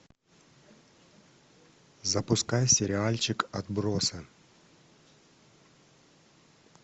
запускай сериальчик отбросы